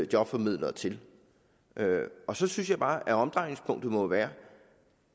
jobformidlere til og så synes jeg bare at omdrejningspunktet må være